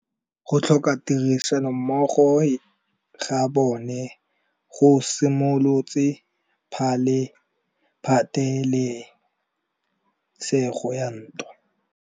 Go tlhoka tirsanommogo ga bone go simolotse patêlêsêgô ya ntwa.